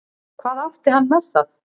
Hvað átti hann með það?